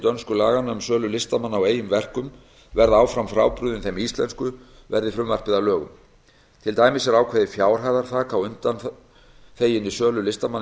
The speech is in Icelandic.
dönsku laganna um sölu listamanna á eigin verkum verða áfram frábrugðin þeim íslensku verði frumvarpið að lögum til dæmis er ákveðið fjárhæðarþak á undanþeginni sölu listamanna í